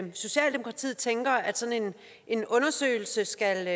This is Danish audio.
socialdemokratiet tænker at sådan en undersøgelse skal